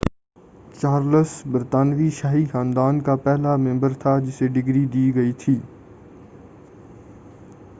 Charles برطانوی شاہی خاندان کا پہلا ممبر تھا جسے ڈگری دی گئی تھی